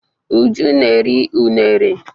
Uju na-eri unere.